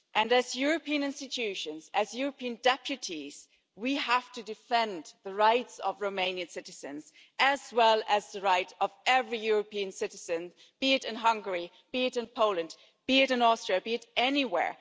As European institutions, as European deputies, we have to defend the rights of Romanian citizens as well as the rights of every European citizen, be it in Hungary, be it in Poland, be it in Austria, be it anywhere.